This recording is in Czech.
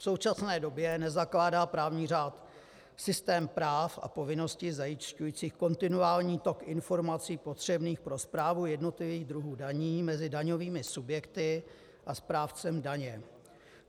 V současné době nezakládá právní řád systém práv a povinností zajišťujících kontinuální tok informací potřebných pro správu jednotlivých druhů daní mezi daňovými subjekty a správcem daně.